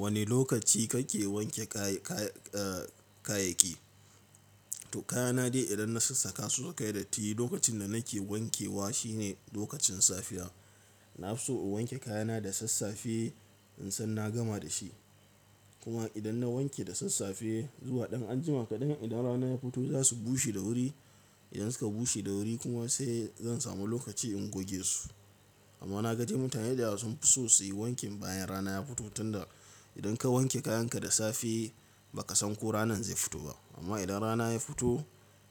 Wane lokaci kake wanke ka-ka-kayayyaki? To kayana dai idan na sassaƙa su saka yi datti, lokacin da nake wankewa shi ne lokacin safiya. Na fi so in wanke kayana da sassafe in san na gama da shi. Kuma idan na wanke da sassafe zuwa ɗan anjima kaɗan, idan rana ya fito za su bushe da wuri. Idan suka bushe da wuri kuma sai zan samu lokaci in goge su. Amma na gaji mutane da yawa sun fi so su yi wanki bayan rana ya fito tunda idan ka wanke kayanka da safe ba ka san ko ranan zai fito ba. Amma idan rana ya fito